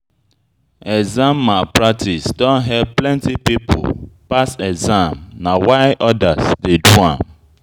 Exam malpractice don help plenty pipo pass exam na why odas dey do am.